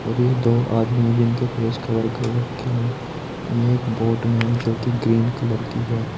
और ये दो आदमी जिनके फेस कवर कर रखे है ये एक बोट में जो कि ग्रीन कलर की है।